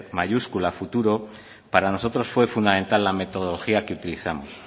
mayúscula a futuro para nosotros fue fundamental la metodología que utilizamos